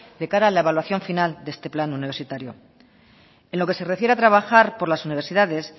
de cara a la evaluación final de este plan universitario en lo que se refiere a trabajar por las universidades